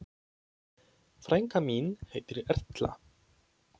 Frænka mín heitir Erla.